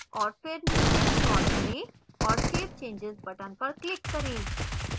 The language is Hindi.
और फिर नीचे scroll करें और save changes button पर click करें